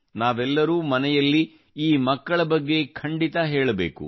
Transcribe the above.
ನಾವೆಲ್ಲರೂ ಮನೆಯಲ್ಲಿ ಈ ಮಕ್ಕಳ ಬಗ್ಗೆ ಖಂಡಿತ ಹೇಳಬೇಕು